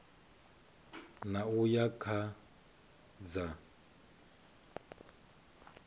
ṋ a uya kha dza